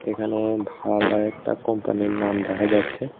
এখানে ভাল ও একটা কোম্পানির নাম দেখা যাচ্ছে।